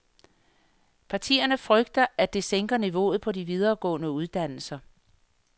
Partierne frygter, at det sænker niveauet på de videregående uddannelser.